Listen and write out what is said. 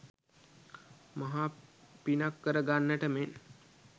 මහා පිනක් කර ගන්නට මෙන්